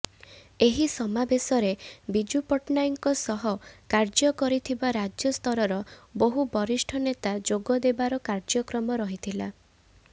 ଏହି ସମାବେଶରେ ବିଜୁ ପଟ୍ଟନାୟକଙ୍କ ସହ କାର୍ଯ୍ୟ କରିଥିବା ରାଜ୍ୟସ୍ତରର ବହୁ ବରିଷ୍ଠ ନେତା ଯୋଗଦେବାର କାର୍ଯ୍ୟକ୍ରମ ରହିଥିଲା